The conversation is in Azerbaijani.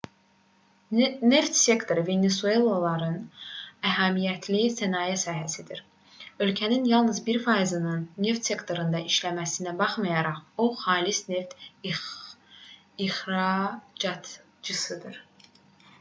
neft sektoru venesuelalıların əhəmiyyətli sənaye sahəsidir ölkənin yalnız 1%-nin neft sektorunda işləməsinə baxmayaraq o xalis neft ixracatçısıdır